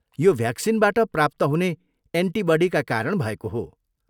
यो भ्याक्सिनबाट प्राप्त हुने एन्टिबडीका कारण भएको हो।